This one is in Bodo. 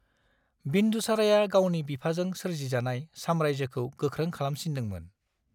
बिन्दुसाराया गावनि बिफाजों सोरजिजानाय साम्रारायजोखौ गोख्रों खालामसिनदोंमोन।